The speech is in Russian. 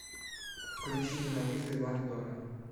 включи ненавижу ивана дорна